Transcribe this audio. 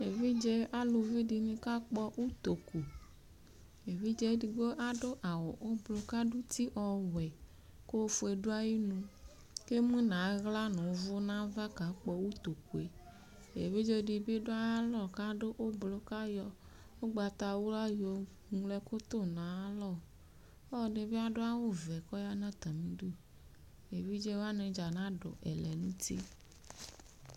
Evidze alʋvi dini kakpɔ ʋtokʋ evidze edigbo adʋ awʋ ʋblɔ kʋ adʋ uti ɔwʋɛ kʋ ofue dʋ ayinʋ kʋ emʋnʋ aɣla nʋ ʋvʋ nʋ ava kakpɔ ʋtokʋe evidze dibi dʋ ayʋ alɔ kʋ adʋ ʋblʋ kʋ ayɔ ʋgbatawla yoŋlo ɛkʋ tʋnʋ ayʋ alɔ ɔlɔdi bi adʋ awʋvɛ kʋ ɔyanʋ atami idʋ evidze wani dza nadʋ ɛlɛnʋti